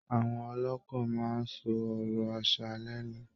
Àwọn ọlọ́kọ máa ń sọ ọ̀rọ̀ aṣa lẹẹ́nu